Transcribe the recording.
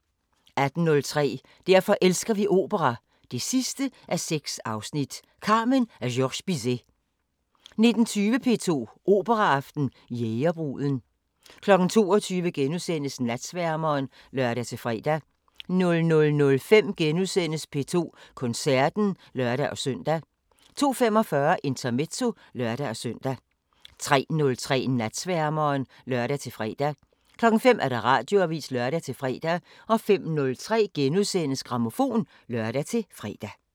18:03: Derfor elsker vi opera 6:6 – Carmen af Georges Bizet 19:20: P2 Operaaften: Jægerbruden 22:00: Natsværmeren *(lør-fre) 00:05: P2 Koncerten *(lør-søn) 02:45: Intermezzo (lør-søn) 03:03: Natsværmeren (lør-fre) 05:00: Radioavisen (lør-fre) 05:03: Grammofon *(lør-fre)